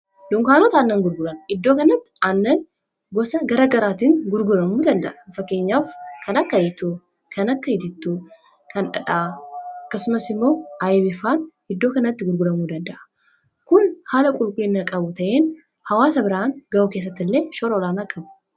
lunkaanota annan gurguran iddoo kanatti annan gosa gara garaatiin gurguramuu danda'a n fakkeenyaaf kanakka hitu kan akka hitittuu kandhaa akkasumas immoo aayibifaan iddoo kanatti gurguramuu danda'a kun haala qulqulliinnaa qabu ta'in hawaasa biraan ga'u keessatti illee shoroolaan akkabu